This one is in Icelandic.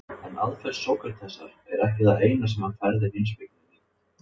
En aðferð Sókratesar er ekki það eina sem hann færði heimspekinni nýtt.